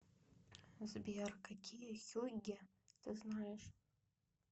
сбер какие хюгге ты знаешь